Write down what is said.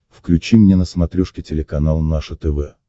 включи мне на смотрешке телеканал наше тв